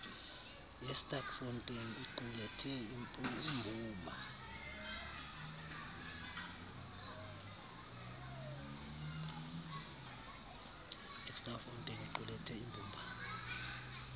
yesterkfontein iqulethe imbumba